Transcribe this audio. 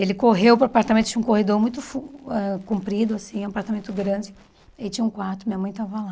Ele correu para o apartamento, tinha um corredor muito fu ãh comprido assim, um apartamento grande, e tinha um quarto, minha mãe estava lá.